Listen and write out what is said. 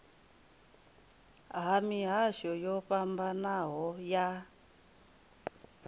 ha mihasho yo fhambanaho ya